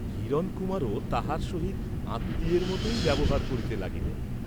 হিরণকুমারও তাহার সহিত আত্মীয়ের মতই ব্যবহার করিতে লাগিলেন।